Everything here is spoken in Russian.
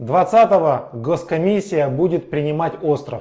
двадцатого госкомиссия будет принимать остро